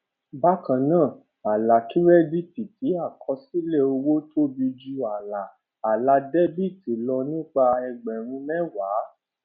bákan náà àlà kírẹdíìtì ti àkọsílẹ owó tóbi ju àlà àlà dẹbìtì lọ nípa ẹgbẹrún mẹwàá